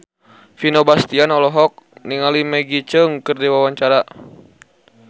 Vino Bastian olohok ningali Maggie Cheung keur diwawancara